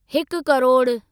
हिकु करोडु